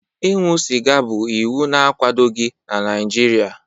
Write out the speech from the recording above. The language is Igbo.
Ịṅụ sịga bụ iwu na-akwadoghị n'Naijiria.